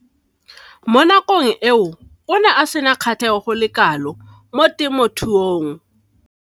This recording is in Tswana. Mo nakong eo o ne a sena kgatlhego go le kalo mo temothuong.